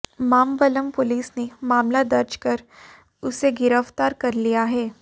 Mambalam police ने मामला दर्ज कर उसे गिरफ्तार कर लिया है